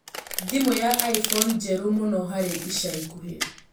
thimũ ya iphone njerũ mũno harĩ ĩca ĩkũhĩ